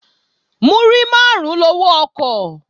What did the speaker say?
Múrí máàrún lowó ọkọ̀